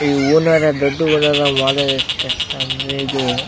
ಇವು ಹೂವುನರ ದೊಡ್ಡ್ ಬಣ್ಣದ ಮಾಲೆ ಎಸ್ಟ್ ಕಷ್ಟ ಅಂದ್ರೆ ಇದು --